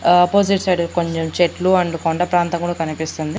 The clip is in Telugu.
ఆపోజిట్ సైడ్ కొంచెం చెట్లు అండ్ మరియు కొండ ప్రాంతం కూడా కనిపిస్తుంది.